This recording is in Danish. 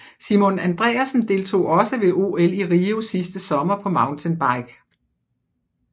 Simon Andreassen deltog også ved OL i Rio sidste sommer på mountainbike